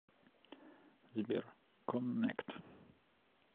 сбер коннект